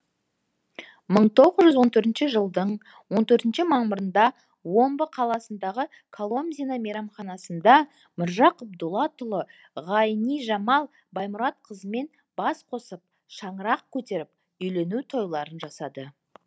мың тоғыз жүз он төртінші жылдың он төртінші мамырында омбы қаласындағы коломзино мейрамханасында міржақып дулатұлы ғайнижамал баймұратқызымен бас қосып шаңырақ көтеріп үйлену тойларын жасады